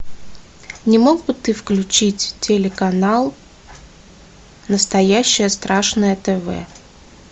не мог бы ты включить телеканал настоящее страшное тв